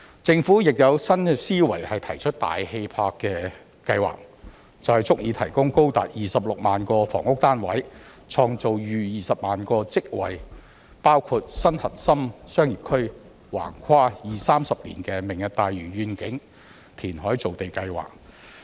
政府亦有新思維提出大氣魄的計劃，便是足以提供高達26萬個房屋單位、創造逾20萬個職位，包括新核心商業區、橫跨二三十年的"明日大嶼願景"填海造地計劃。